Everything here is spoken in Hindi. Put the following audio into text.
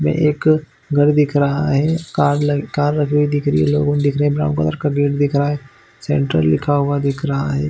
ये एक घर दिख रहा है कार लग लगी हुई दिख रही है लोगो दिख रही ब्राउन कलर का गेट दिख रहा है सेंट्रल लिखा हुआ दिख रहा है।